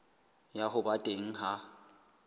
ya ho ba teng ha